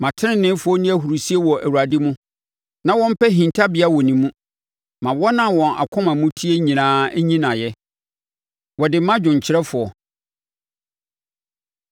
Ma teneneefoɔ nni ahurisie wɔ Awurade mu na wɔmpɛ hintabea wɔ ne mu; ma wɔn a wɔn akoma mu teɛ nyinaa nyi no ayɛ! Wɔde ma dwomkyerɛfoɔ.